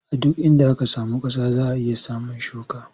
A duk inda aka samu ƙasa za a iya samun shuka.